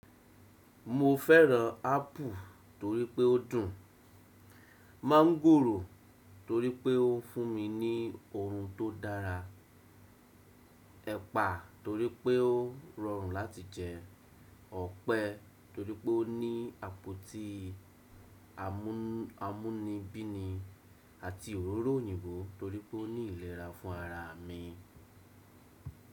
Mo fẹ́ràn apple torí pé ó dùn, mọ́ńgòrò torí pé ó fún mi ní oorun tó dára, ẹ̀pà torí pé ó rọrùn láti jẹ, ọ̀pẹ torí pé ó ní àpótí amúnibínì àti òróró òyìnbó torí pé ó ní ìlera fún ara mi.